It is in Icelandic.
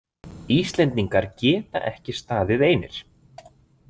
Íslendingar geta ekki staðið einir.